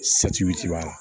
b'a la